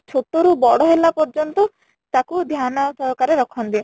ଛୋଟ ରୁ ବଡ ହେଲା ପର୍ଯ୍ୟନ୍ତ ତାକୁ ଧ୍ୟାନ ସହକାରେ ରଖନ୍ତି